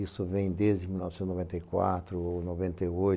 Isso vem desde mil novecentos e noventa e quatro ou noventa e oito